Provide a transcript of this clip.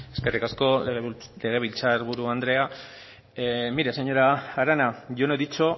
eskerrik asko legebiltzar buru andrea mire señora arana yo no he dicho